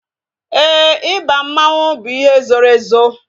Éè, ịba mmanwu bụ ihe zoro ezo